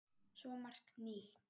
Svo margt nýtt.